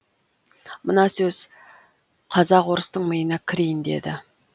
мына сөз қазақ орыстың миына кірейін деді